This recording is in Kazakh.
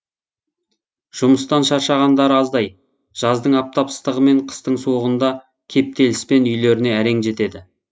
жұмыстан шаршағандары аздай жаздың аптап ыстығы мен қыстың суығында кептеліспен үйлеріне әрең жетеді